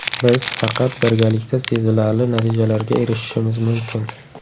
Biz faqat birgalikda sezilarli natijalarga erishishimiz mumkin.